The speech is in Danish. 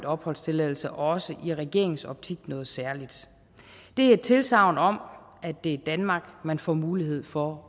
opholdstilladelse også i regeringens optik noget særligt det er et tilsagn om at det er danmark man får mulighed for